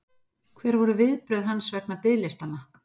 Hver voru viðbrögð hans vegna biðlistanna?